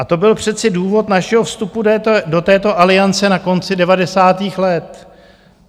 A to byl přece důvod našeho vstupu do této Aliance na konci devadesátých let.